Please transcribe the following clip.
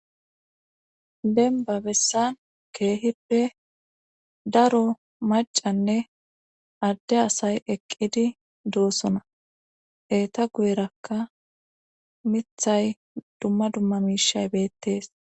benba bessan keehippe daro macanne adde asay eqqidi doosona eeta guyerakka mithay dumma dumma miishay beettees